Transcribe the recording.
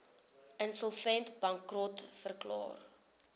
insolvent bankrot verklaar